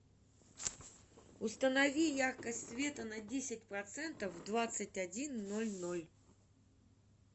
установи яркость света на десять процентов в двадцать один ноль ноль